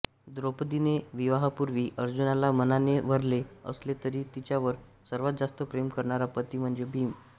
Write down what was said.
द्रौपदीने विवाहापूर्वी अर्जुनाला मनाने वरले असले तरी तिच्यावर सर्वात जास्त प्रेम करणारा पति म्हणजे भीम